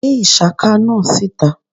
gbe ishaka náá sítá!